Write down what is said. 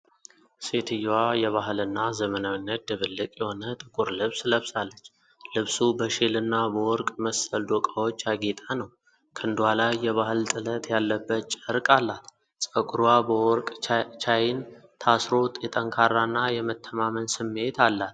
ሴትየዋ የባህልና ዘመናዊነት ድብልቅ የሆነ ጥቁር ልብስ ለብሳለች። ልብሱ በሼልና በወርቅ መሰል ዶቃዎች ያጌጠ ነው። ክንዷ ላይ የባህል ጥለት ያለበት ጨርቅ አላት። ፀጉሯ በወርቅ ቻይን ታስሮ፣ የጠንካራና የመተማመን ስሜት አላት።